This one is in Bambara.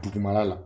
Dugumala la